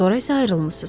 Sonra isə ayrılmısınız.